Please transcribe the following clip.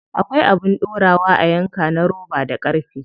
Akwai abin dorawa a yanka na roba da ƙarfe.